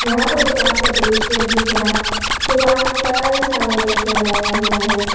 यहां पर दुकान का दृश्य दिख रहा है दुकान में कई सारा रैक लगाया हुआ है।